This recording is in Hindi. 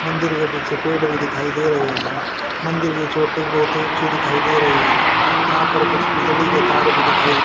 मंदिर के पीछे पेड़ भी दिखाई दे रहे हैं। मंदिर की चोटी बहोत ही अच्छी दिखाई दे रही है। यहां पर कुछ बिजली के तार भी दिखाई--